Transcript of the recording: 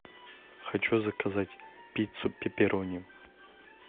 хочу заказать пиццу пеперони